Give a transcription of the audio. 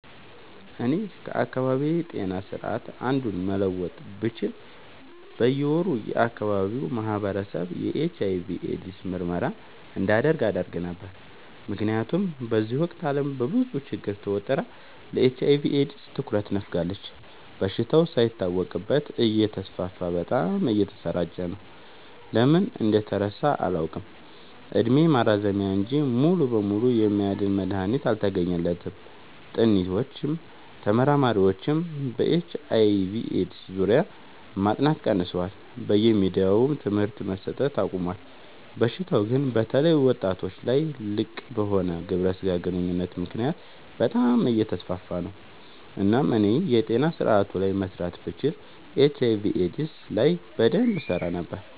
እኔ ከአካባቢዬ ጤና ስርዓት አንዱን መለወጥ ብችል በየ ወሩ የአካባቢው ማህበረሰብ የኤች/አይ/ቪ ኤድስ ምርመራ እንዲያደርግ አደረግ ነበር። ምክንያቱም በዚህ ወቅት አለም በብዙ ችግር ተወጥራ ለኤች/አይ/ቪ ኤድስ ትኩረት ነፋጋለች። በሽታው ሳይታወቅበት እተስፋፋ በጣም እየተሰራጨ ነው። ለምን እንደተረሳ አላውቅ እድሜ ማራዘሚያ እንጂ ሙሉ በሙሉ የሚያድን መድሀኒት አልተገኘለትም ጥኒዎችም ተመራማሪዎችም በኤች/አይ/ቪ ኤድስ ዙሪያ ማጥናት ቀንሰዋል በየሚዲያውም ትምህርት መሰት አቆሞል። በሽታው ግን በተለይ ወጣቶች ላይ ልቅበሆነ ግብረ ስጋ ግንኙነት ምክንያት በጣም አየተስፋፋ ነው። እናም እኔ የጤና ስረአቱ ላይ መስራት ብችል ኤች/አይ/ቪ ኤድስ ላይ በደንብ እሰራ ነበር።